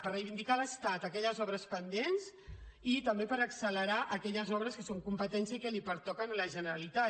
per reivindicar a l’estat aquelles obres pendents i també per accelerar aquelles obres que són competència i que li pertoquen a la generalitat